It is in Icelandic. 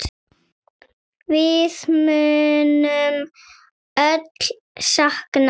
Við munum öll sakna þín.